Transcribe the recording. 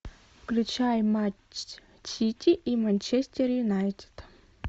включай матч сити и манчестер юнайтед